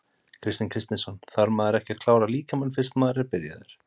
Kristinn Kristinsson: Þarf maður ekki að klára líkamann fyrst að maður er byrjaður?